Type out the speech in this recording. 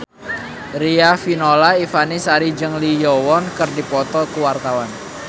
Riafinola Ifani Sari jeung Lee Yo Won keur dipoto ku wartawan